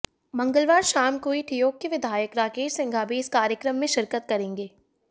मंगलवार शाम को ही ठियोग के विधायक राकेश सिंघा भी इस कार्यक्रम में शिरकत करेंगे